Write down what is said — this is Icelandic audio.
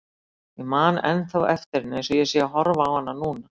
Ég man ennþá eftir henni eins og ég sé að horfa á hana núna.